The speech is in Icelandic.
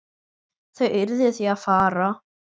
Þau urðu því að fara.